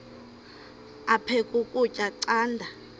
aphek ukutya canda